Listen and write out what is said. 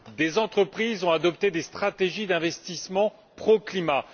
Des entreprises ont adopté des stratégies d'investissements pro climat.